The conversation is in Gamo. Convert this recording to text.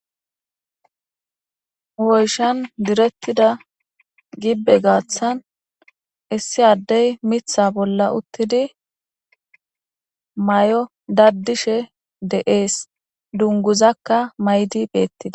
Woyshan direttida gibbe gaaththan issi addey mitha bolla uttidi may7o daddishe de7ees dunguzakka maydi beettida.